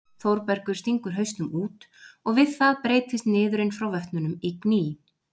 Þórbergur stingur hausnum út og við það breytist niðurinn frá vötnunum í gný.